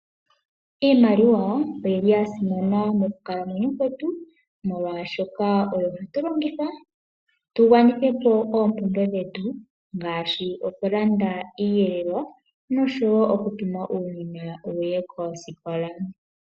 Iimaliwa oyili yasimana mokukalamwenyo kwetu molwaashoka oyo hatu longitha tu gwanithe po oompumbwe dhetu ngaashi; okulanda iiyelelwa nosho woo oku tuma uunona wuye koosikola.